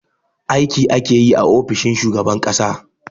Aiki ake yi a ofishin shugaban ƙasa